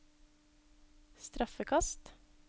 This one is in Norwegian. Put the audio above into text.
straffekast